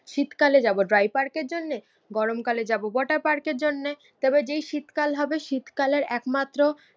শীতকালে যাবো ড্রাইপার্কের জন্যে, গরমকালে যাবো ওয়াটার পার্কের জন্যে তারপর যেই শীতকাল হবে শীতকালের একমাত্র